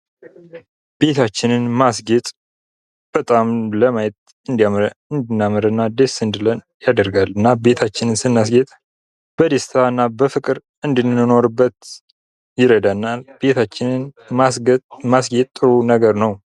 ቤታችንን ማስገጥ በጣም ለማየት እንድናምርና ደስ እንዲለን ያደርጋልና ቤታችንን በማስጌ በደስታና በፍቅር እንድንኖርበት ይረዳናል። ቤታችንን ማስጌት ጥሩ ነገር ነው።